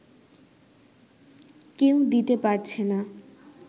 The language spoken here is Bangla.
কেউ দিতে পারছে না